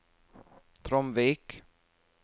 Tromvik